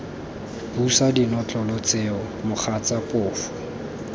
busa dinotlolo tseo mogatsa phofu